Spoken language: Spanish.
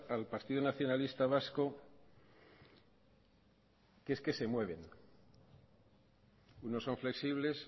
al partido nacionalista vasco que es que se mueven unos son flexibles